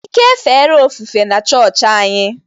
Ike efere ofufe na-chọọchị anyị.